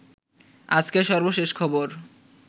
আজকের সর্বশেষ খবর